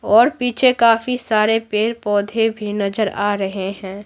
और पीछे काफी सारे पेड़-पौधे भी नजर आ रहे हैं।